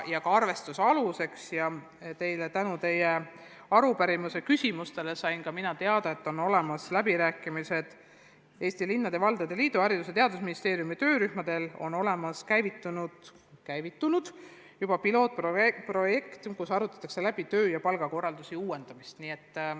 Ja tänu teie arupärimise küsimustele sain ka mina teda, et peetakse läbirääkimisi Eesti Linnade ja Valdade Liiduga ning et Haridus- ja Teadusministeeriumi töörühmadel on juba käivitunud pilootprojekt, millega seoses arutatakse töö- ja palgakorralduse uuendamist.